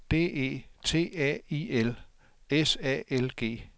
D E T A I L S A L G